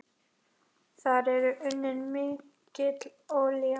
Þar er unnin mikil olía.